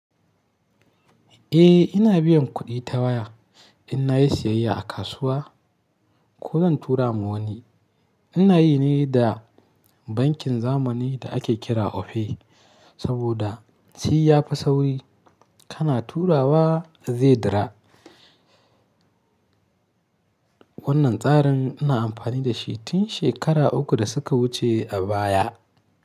Eh ina biyan kuɗi ta waya in na yi siyayya a kasuwa ko zan tura ma wani. Ina yi ne da bankin zamani da ake kira Opay saboda shi ya fi sauri kana turawa zai dawo. Wannan tsarin ina amfani da shi tun shekaru uku da suka wuce a baya.